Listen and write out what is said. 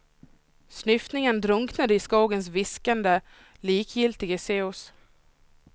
Snyftningen drunknade i skogens viskande, likgiltiga sus.